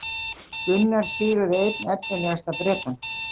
Gunnar sigraði einn efnilegasta Bretann